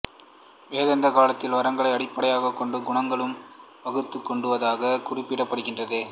வேதாந்த காலத்தில் வர்ணங்கைளை அடிப்படையாகக் கொண்டு குணங்களும் வகுத்துக் கொண்டதாகக் கூறப்படுகின்றது